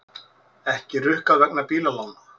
Ekki rukkað vegna bílalána